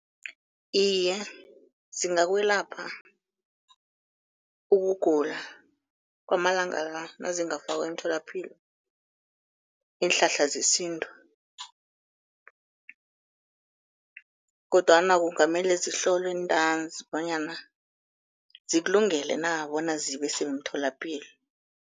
Iye, zingakwelapha ukugula kwamalanga la nazingafakwa emtholapilo iinhlahla zesintu, kodwana kungamele zihlolwe ntanzi bonyana zikulungele na bona zibe semtholapilo.